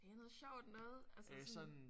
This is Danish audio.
Det er noget sjovt noget altså sådan